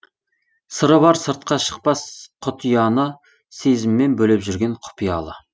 сыры бар сыртқа шықпас құт ұяны сезіммен бөлеп жүрген құпиялы